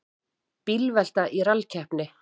Bílvelta í rallkeppni